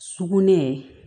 Sugunɛ